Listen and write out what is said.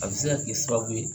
A bi se ka kɛ sababu ye